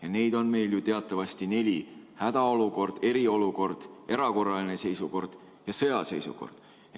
Ja neid on meil ju teatavasti neli: hädaolukord, eriolukord, erakorraline seisukord ja sõjaseisukord.